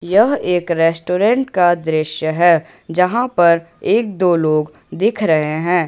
यह एक रेस्टोरेंट का दृश्य है जहां पर एक दो लोग दिख रहे है।